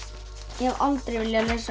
ég hef aldrei viljað lesa